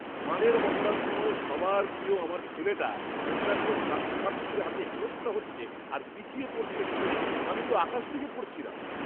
গানের মহড়ার সময় সবার প্রিয় আমার ছেলেটা অন্যান্য ছাত্রছাত্রীদের হাতে হেনস্থা হচ্ছে আর পিছিয়ে পড়ছে শুনে তো আমি আকাশ থেকে পড়েছিলাম!